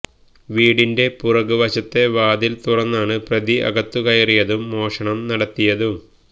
വീടിന്റെ പിറകുവശത്തെ വാതില് തുറന്നാണ് പ്രതി അകത്തുകയറിയതും മോഷണം നടത്തിയതും